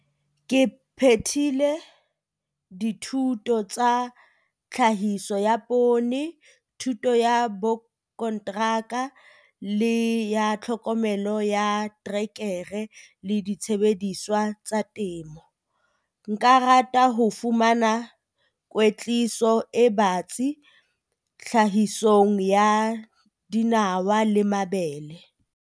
Ke phethile dithuto tsa Tlhahiso ya Poone, thuto ya Borakonteraka, le ya Tlhokomelo ya Terekere le Disebediswa tsa Temo. Nka rata ho fumana kwetliso e batsi tlhahisong ya dinawa le mabele.